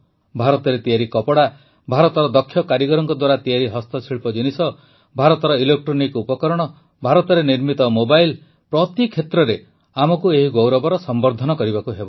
ଭାରତରେ ତିଆରି କପଡ଼ା ଭାରତର ଦକ୍ଷ କାରିଗରଙ୍କ ଦ୍ୱାରା ତିଆରି ହସ୍ତଶିଳ୍ପ ଜିନିଷ ଭାରତର ଇଲେକ୍ଟ୍ରୋନିକ ଉପକରଣ ଭାରତରେ ନିର୍ମିତ ମୋବାଇଲ ପ୍ରତି କ୍ଷେତ୍ରରେ ଆମକୁ ଏହି ଗୌରବର ସମ୍ବର୍ଦ୍ଧନ କରିବାକୁ ହେବ